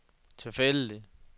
tilfældig